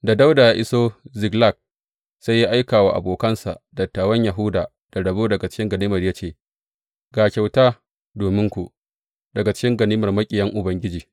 Da Dawuda ya iso Ziklag, sai ya aika wa abokansa, dattawan Yahuda da rabo daga cikin ganimar ya ce, Ga kyauta dominku, daga cikin ganimar maƙiyan Ubangiji.